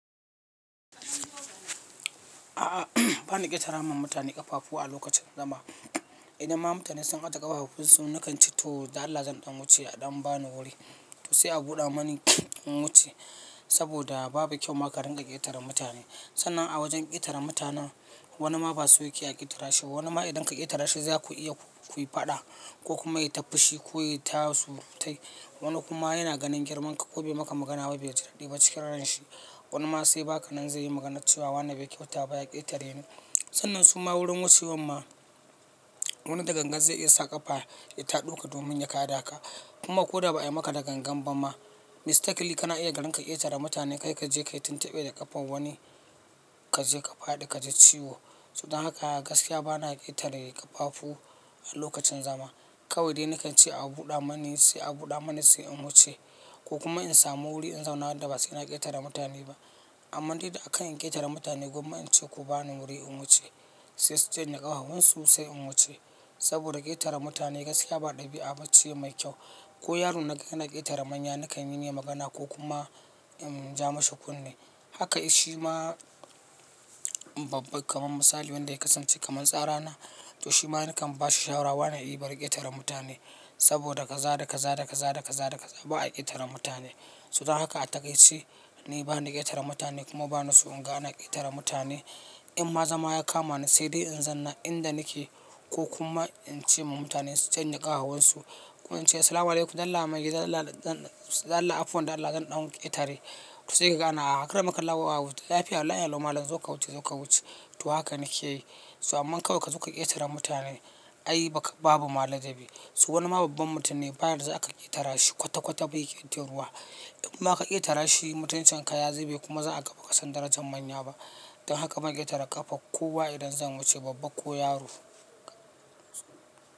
A'a, bana ƙetara ma mutane ƙafafu a lokacin zama. Idan ma mutane sun ajiye ƙafafunsu, nakan ce to Allah zan ɗan wuce a ɗan bani wuri. To sai a buɗa mani in wuce saboda babu kyau ma ka ringa ƙetaren mutane. Sannan a wajen ƙetare mutanen wani ma basu yake a ƙetara shi ba, wani ma idan ka ƙetara shi zaku iya ku yi faɗa ko kuma ya yi ta fushi ko ya yi ta surutai. Wani kuma yana ganin girman ka ko bai maka magana ba bai ji daɗi ba ciki ran shi. Wani ma sai baka nan zai yi maganar cewa wannan bai kyauta ba ya ƙetare ni. Sannan su ma wurin wucewan ma wani da gangan zai iya sa ƙafa ya ta ɗauka domin ya kaɗa ka. Kuma ko da ba a yi maka da gangan ba ma, mistakli kana iya ka ringa ƙetara mutane kai ka je ka yi tuntuɓe da ƙafan wani ka je ka fadi ka ji ciwo. To dan haka gaskiya gwara a ƙetare ƙafafu a lokacin zama. Kawai dai nakan ce a buɗa mani sai a buɗa mani sai in wuce ko kuma in samu wuri in zauna wanda ba sai ina ƙetare mutane ba. Amma dai da a kan in ƙetare mutane gwamma in ce ku bani wuri in wuce sai su canye ƙahahunsu sai in wuce. Saboda ƙetare mutane gaskiya ba ɗabi'a ce mai kyau. Ko yaro na gani na ƙetare manya nakan yi masa magana ko kuma in ja mashi kunne. Haka shi ma babban kamar misali wanda ya kasance kamar tsarana, to shi ma nakan bashi shawarar wane yi bar ƙetare mutane. Saboda kaza da kaza da kaza da kaza da kaza ba a ƙetare mutane. To don haka a takaice ni bani da ƙetare mutane kuma bani so in ga ana ƙetare mutane. In ma zama ya kama ni sai dai in zanna inda nake ko kuma in ce ma mutane su canye ƙahahunsu. Kuma in ce "Assalamu'alaikum dan Allah magiji, dan Allah afuwa, dan Allah zan ɗan ƙetare." To sai ka ga ana akaramak Allahu ya wautar da lafiya Allah ya lallau mallam zo ka wuce zo ka wuce. To haka nake yi. To amma kawai ka zo ka ƙetare mutane ai babu ma ladabi. To wani ma babban mutum ne ba ya za a ƙetara shi kwata kwata bai yi ƙetaruwa. In ma ka ƙetara shi mutuncin ka ya zube kuma za a kafa kasan darajar manya ba. Don haka ban ƙetare ƙafar kowa idan zan wuce babba ko yaro.